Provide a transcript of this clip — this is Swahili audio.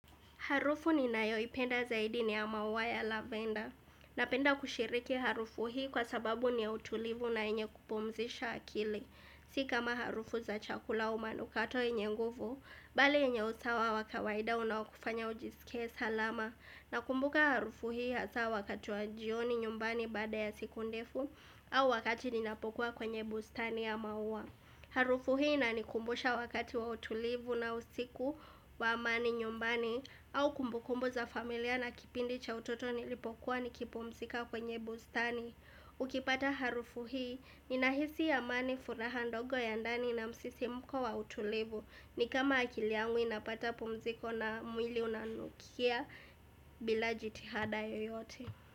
Harufu ninayoipenda zaidi ni ya mauwa ya lavender. Napenda kushiriki harufu hii kwa sababu ni ya utulivu na yenye kupumzisha akili. Si kama harufu za chakula au manukato yenye nguvu, bali yenye usawa wakawaida unawokufanya ujisike salama. Na kumbuka harufu hii hasa wakati wa jioni nyumbani bada ya siku ndefu au wakati ninapokuwa kwenye bustani ya mauwa. Harufu hii inanikumbusha wakati wa utulivu na usiku wa amani nyumbani au kumbukumbu za familia na kipindi cha utoto nilipokuwa nikipumzika kwenye bustani Ukipata harufu hii, ninahisi ya amani furaha ndogo ya ndani na msisimuko wa utulivu ni kama akiliangu inapata pumziko na mwili unanukia bila jitihada yoyote.